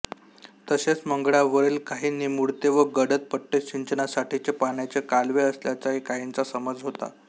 तसेच मंगळावरील काही निमुळते व गडद पट्टे सिंचनासाठीचे पाण्याचे कालवे असल्याचाही काहींचा समज होता